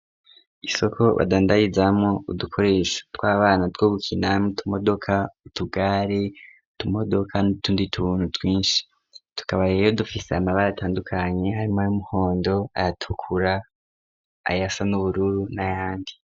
Isoko badandarizamwo udukoresha tw'abana two gukinamwo utumodoka ,utugari , utumodoka n'utundi tuntu twinshi tukaba rero dufise amabara atandukanye harimwo ay'umuhondo ay'atukura ayasa n'ubururu n'ayandi.